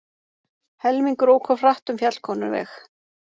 Helmingur ók of hratt um Fjallkonuveg